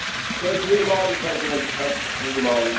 So dream on, President Tusk, dream on.